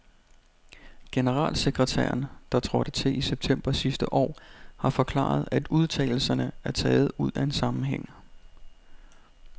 Generalsekretæren, der trådte til i september sidste år, har forklaret, at udtalelserne er taget ud af en sammenhæng.